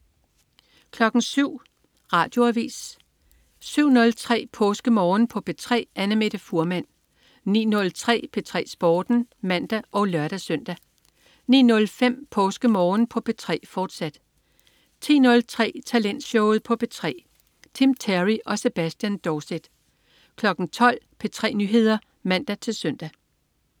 07.00 Radioavis 07.03 PåskeMorgen på P3. Annamette Fuhrmann 09.03 P3 Sporten (man og lør-søn) 09.05 PåskeMorgen på P3, fortsat 10.03 Talentshowet på P3. Tim Terry og Sebastian Dorset 12.00 P3 Nyheder (man-søn)